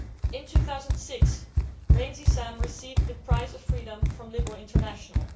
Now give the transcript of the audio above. In 2006 Sam Rainsy received the Prize for Freedom from Liberal International.